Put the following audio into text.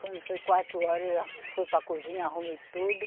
Quando foi quatro horas, já fui para a cozinha, arrumei tudo.